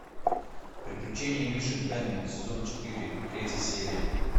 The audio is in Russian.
приключения мишек гамми сезон четыре третья серия